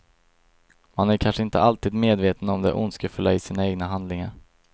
Man är kanske inte alltid medveten om det ondskefulla i sina egna handlingar.